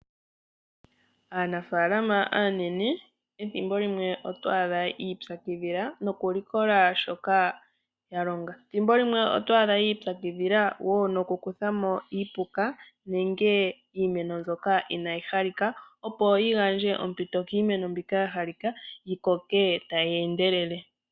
Aanafalama aanene ethimbo limwe oto adha yi ipyakidhila noku likola shoka ya longa. Ethimbo limwe oto adha ya ipyakidhila wo noku kuthamo iipuka nenge iimeno mbyoka inayi halika opo yi gandje ompito kiimeno mbyoka ya halika yi koke tayi endelele